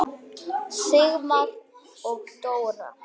Sigmar og Dóra.